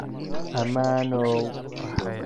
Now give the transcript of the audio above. Ammaanow!